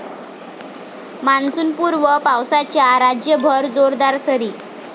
मान्सूनपूर्व पावसाच्या राज्यभर जोरदार सरी